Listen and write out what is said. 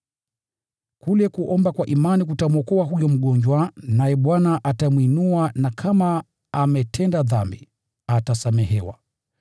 Kule kuomba kwa imani kutamwokoa huyo mgonjwa, naye Bwana atamwinua na kama ametenda dhambi, atasamehewa.